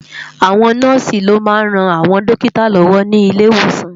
Àwón Nòsi lò má n ròn áwòn dókitá lòwò ni ilé Iwósán